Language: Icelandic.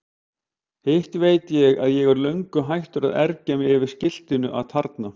Hitt veit ég að ég er löngu hættur að ergja mig yfir skiltinu atarna.